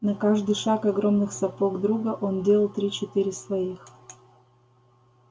на каждый шаг огромных сапог друга он делал три-четыре своих